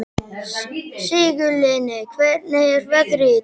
Sigurlinni, hvernig er veðrið í dag?